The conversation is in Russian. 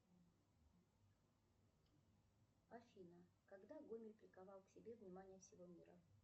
афина когда гомель приковал к себе внимание всего мира